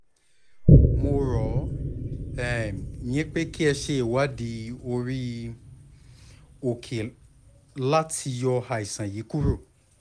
mo rọ̀ um yín pé kí ẹ ṣe ìwádìí orí-òkè láti um yọ um àìsàn yìí kúrò